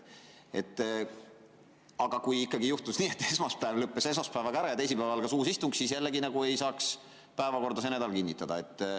Aga kui ikkagi juhtus nii, et esmaspäev lõppes esmaspäevaga ära ja teisipäeval algas uus istung, siis jällegi ei saaks selle nädala päevakorda kinnitada.